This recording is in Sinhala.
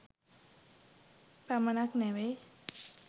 පමණක් නෙවෙයි.